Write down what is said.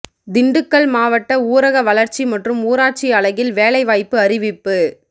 திண்டுக்கல் மாவட்ட ஊரக வளர்ச்சி மற்றும் ஊராட்சி அலகில் வேலைவாய்ப்பு அறிவிப்பு